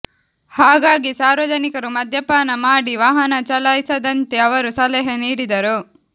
ಹಾಗಾಗಿ ಸಾರ್ವಜನಿಕರು ಮದ್ಯಪಾನ ಮಾಡಿ ವಾಹನ ಚಲಾಯಿಸದಂತೆ ಅವರು ಸಲಹೆ ನೀಡಿದರು